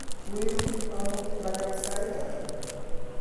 kweru amut lagat sait ata